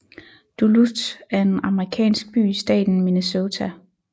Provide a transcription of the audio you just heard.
Duluth er en amerikansk by i staten Minnesota